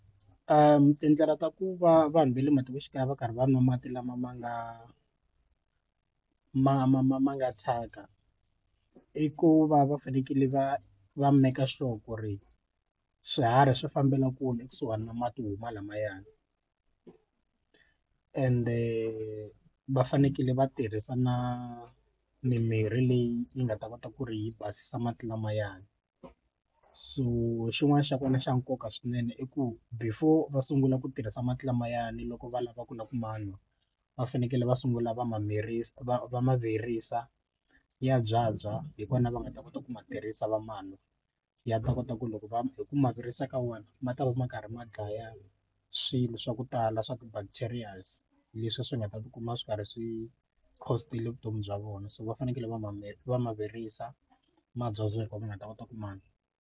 tindlela ta ku va vanhu va le matikoxikaya va karhi va nwa mati lama ma nga ma ma ma ma nga thyaka i ku va va fanekele va va make sure ku ri swiharhi swi fambela kule ekusuhani na mati lamayani ende va fanekele va tirhisa na mimirhi leyi yi nga ta kota ku ri yi basisa mati lamayani so xin'wana xa kona xa nkoka swinene i ku before va sungula ku tirhisa mati lamayani loko va lava ku na ku ma nwa va fanekele va sungula va ma va ma virisa ya byabya hi vona va nga ta kota ku ma tirhisa va manwa ya ta kota ku loko va hi ku ma virisa ka wona ma ta va ma karhi ma dlaya swilo swa ku tala swa ti bacterias leswi swi nga ta tikuma swi karhi swi vutomi bya vona so va fanekele va ma va ma virisa ma byabya hi ko hi nga ta kota ku ma nwa.